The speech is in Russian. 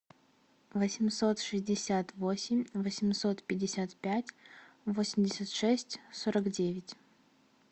восемьсот шестьдесят восемь восемьсот пятьдесят пять восемьдесят шесть сорок девять